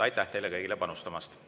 Aitäh teile kõigile panustamast!